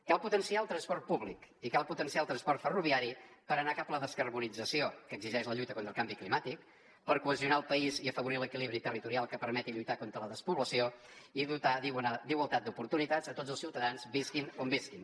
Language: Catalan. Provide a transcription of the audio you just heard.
cal potenciar el transport públic i cal potenciar el transport ferroviari per anar cap a la descarborització que exigeix la lluita contra el canvi climàtic per cohesionar el país i afavorir l’equilibri territorial que permeti lluitar contra la despoblació i dotar d’igualtat d’oportunitats a tots els ciutadans visquin on visquin